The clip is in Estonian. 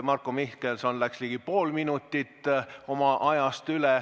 Marko Mihkelson läks ligi pool minutit oma ajast üle.